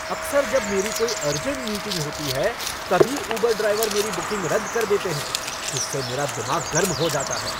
अक्सर जब मेरी कोई अर्जेंट मीटिंग होती है तभी उबर ड्राइवर मेरी बुकिंग रद्द कर देते हैं जिससे मेरा दिमाग गर्म हो जाता है।